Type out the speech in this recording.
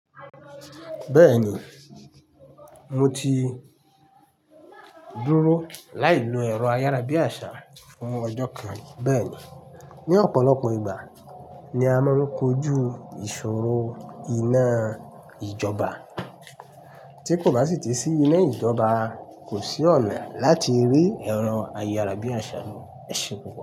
Beeni mo ti duro lai lo ero ayarabiasa fun oho kan ri. Bẹ́ẹ̀ni, ní ọ̀pọ̀lọpọ̀ ìgbà ni a máa ń kojú ìṣòro iná ìjọba. Tí kò bá sì tí sí iná ìjọba, kò sí ọ̀nà láti rí ẹ̀rọ ayárabíàṣá lo. Ẹ pupo.